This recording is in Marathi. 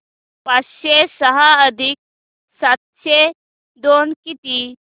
पाचशे सहा अधिक सातशे दोन किती